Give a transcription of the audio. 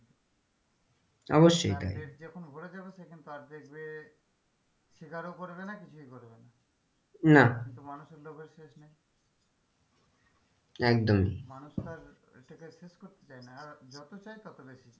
অবশ্যই তার পেট যখন ভরে যাবে সে কিন্তু দেখবে শিকারও করবে না কিছুই করবে না না তো মানুষের লোভের শেষ নেই একদমই মানুষ তো আর এটা কে শেষ করতে চায় না আর যতো চায় ততো বেশি চায়,